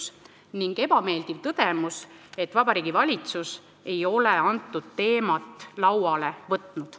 See on see ebameeldiv tõdemus, et Vabariigi Valitsus ei ole teemat lauale võtnud.